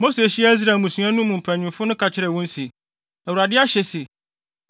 Mose hyiaa Israel mmusua no mu mpanyimfo no ka kyerɛɛ wɔn se, “ Awurade ahyɛ se: